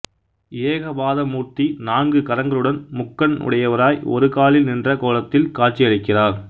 ஏகபாதமூர்த்தி நான்கு கரங்களுடன்முக்கண் உடையவராய் ஒரு காலில் நின்ற கோலத்தில் காட்சி அளிக்கிறார்